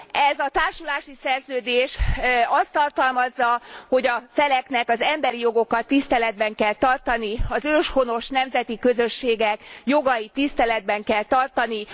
Ez a társulási szerződés azt tartalmazza, hogy a feleknek az emberi jogokat tiszteletben kell tartani, az őshonos nemzeti közösségek jogait tiszteletben kell tartani.